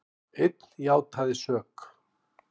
Einn játaði sök